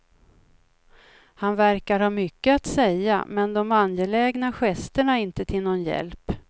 Han verkar ha mycket att säga, men de angelägna gesterna är inte till någon hjälp.